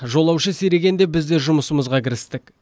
жолаушы сирегенде біз де жұмысымызға кірістік